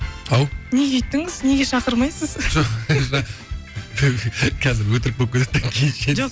ау неге өйттіңіз неге шақырмайсыз қазір өтірік болып кетеді де